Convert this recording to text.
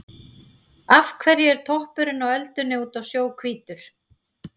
Af hverju er toppurinn á öldunni úti á sjó hvítur?